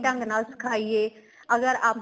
ਸਹੀ ਢ਼ੰਗ ਨਾਲ ਸਿਖਾਈਏ ਅਗ਼ਰ ਆਪਾਂ